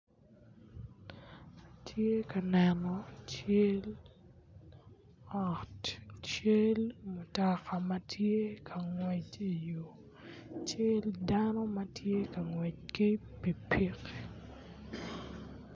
Atye ka neno cal ot cal mutoka ma tye ka ngwec ki i yo cal dano ma tye ka ngwec ki pikipiki